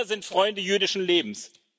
Wir sind Freunde jüdischen Lebens.